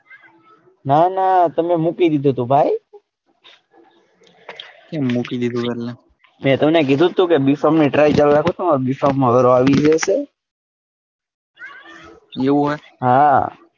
ના ના તમે મૂકી દીધું તું ભાઈ કેમ મૂકી દીધું તુંએટલે મેં તમને કીધું તું કે b pharm ની try કરો તમારો b pharm માં ગારો આવી ગયો છે એવું હોય હા.